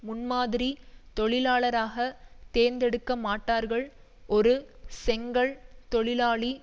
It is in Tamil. முன்மாதிரி தொழிலாளராக தேர்ந்தெடுக்கமாட்டார்கள் ஒரு செங்கல் தொழிலாளி